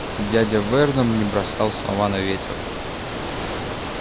дядя вернон не бросал слова на ветер